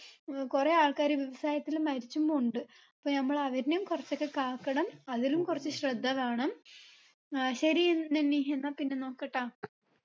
ഏർ കുറേ ആൾക്കാര് വ്യവസായത്തില് മരിച്ചും പോണിണ്ട് അപ്പൊ നമ്മള് അവരിനേം കൊറച്ചൊക്കെ കാക്കണം അതിലും കൊറച്ച് ശ്രദ്ധ വേണം ഏർ ശരി നനി എന്നാ പിന്നെ നോക്കട്ടാ